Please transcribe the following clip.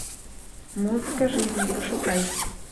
музыка жизни пошукай